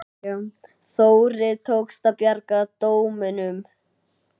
Þórir: Tókst að bjarga dómunum?